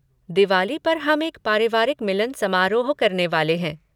दिवाली पर हम एक पारिवारिक मिलन समारोह करने वाले हैं।